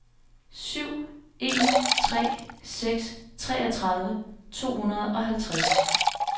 syv en tre seks treogtredive to hundrede og halvtreds